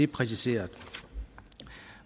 præciseret